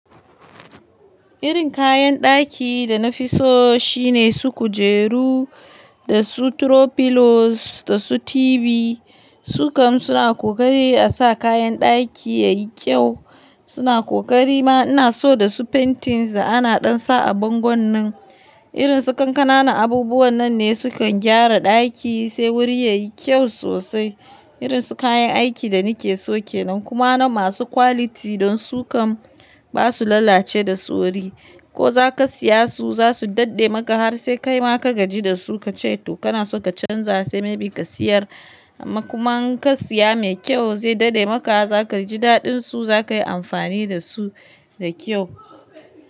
Irin kayan ɗaki da na fi so shine su kujeru da su throw pillows da su TV. Su kam suna ƙokari a sa kayan ɗaki ya yi ƙyau. Suna ƙokari ma ina so da su paintings da ana dansa a bangon nan. Irin su ƙananan abubuwa nan ne sukan gyara ɗaki sai wuri ya yi kyau sosai. Irin su kayan aiki da ni ke so kenan kuma na masu quality don su kam ba su lalace da sauri. Ko za ka siya su za su daɗe maka har sai kai ma ka gaji da su ka ce to kana so ka canza sai may be ka siyar. Amma kuma in ka siya mai ƙyau zai daɗe maka. Zaka ji daɗin su zakayi amfani da su da kyau.